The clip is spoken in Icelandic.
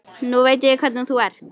Nú veit ég hvernig þú ert!